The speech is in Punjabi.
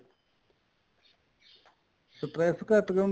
stress ਘੱਟ ਜਾਂਦਾ